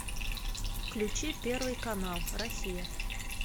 включи первый канал россия